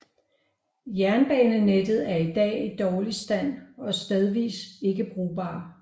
Jernbanenettet er i dag i dårlig stand og stedvis ikke brugbar